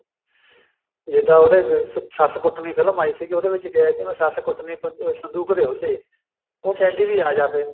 ਜਿੱਦਾਂ ਉਹਨੇ ਸੱਸ ਕੁੱਟਣੀ film ਆਈ ਸੀ ਉਹਦੇ ਵਿੱਚ ਕਿਹਾ ਸੀ ਮੈਂ ਸੱਸ ਕੁੱਟਣੀ ਵੀ ਸੰਦੂਕ ਦੇ ਓਹਲੇ ਉਹ ਕਹਿੰਦੀ ਵੀ ਅਜ ਫੇਰ